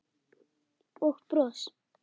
Og bros.